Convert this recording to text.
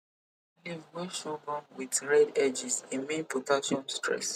leave wey sorghum with red edges e mean potassium stress